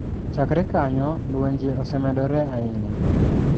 Chakre kanyo lenje osemedore ahinya.